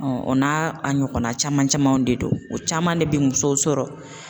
o n'a a ɲɔgɔnna caman camanw de don o caman de bɛ musow sɔrɔ